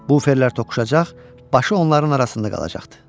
Buferlər toqquşacaq, başı onların arasında qalacaqdı.